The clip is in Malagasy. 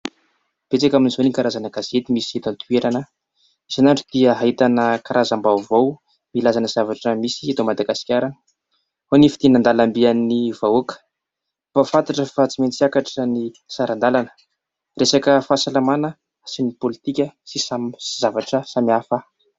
Betsaka amin'izao ny karazana gazety misy eto an-toerana. Isan'andro dia ahitana karazam-baovao ilazàna zavatra misy eto Madagasikara : ao ny fidinana an-dalambe an'ny vahoaka, mampahanfantatra fa tsy maintsy hiakatra ny sarandalana. Resaka fahasalamana sy ny politika sy zavatra samihafa.